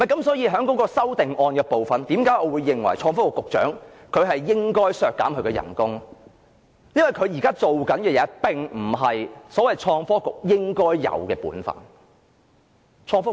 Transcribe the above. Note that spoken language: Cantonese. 所以在修正案的部分，我認為要削減創科局局長的工資，因為他現在的工作並不是創科局應有的本分。